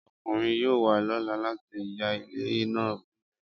Ọkọnrin yoo wa lọla lati ya ile naa lulẹ.